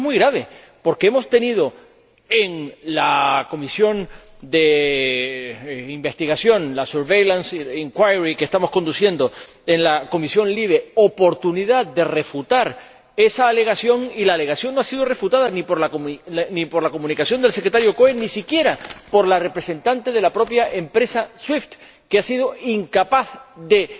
Y esto es muy grave, porque hemos tenido en la comisión de investigación —la surveillance inquiry que estamos llevando a cabo en la comisión LIBE— oportunidad de refutar esa alegación, y la alegación no ha sido refutada, ni por la comunicación del Secretario Cohen ni siquiera por la representante de la propia empresa SWIFT, que ha sido incapaz de